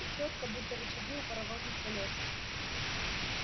и чётко будто рычаги у паровозных колёс